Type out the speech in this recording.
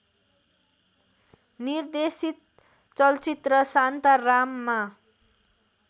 निर्देशित चलचित्र शान्ताराममा